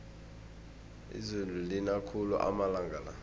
izulu lina khulu amalanga la